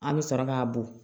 An bɛ sɔrɔ k'a bɔn